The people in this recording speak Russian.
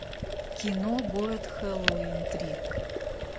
кино город хэллоуин три